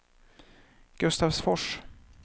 Gustavsfors